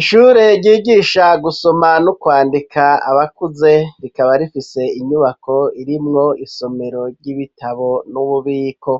Ishure ryigisha gusoma no kwandika abakuze rikaba rifise inyubako irimwo isomero ry'ibitabo n'ububiko